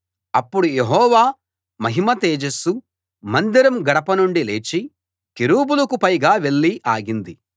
అప్పుడు యెహోవా మహిమ తేజస్సు మందిరం గడప నుండి లేచి కెరూబులకు పైగా వెళ్ళి ఆగింది